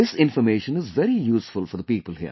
This information is very useful for the people here